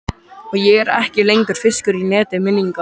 Og ég er ekki lengur fiskur í neti minninganna.